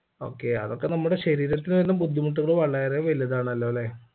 okay അതൊക്കെ നമ്മുടെ ശരീരത്തിന് വരുന്ന ബുദ്ധിമുട്ടുകൾ വളരെ വലുതാണല്ലോലെ